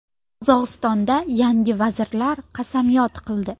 Qozog‘istonda yangi vazirlar qasamyod qildi.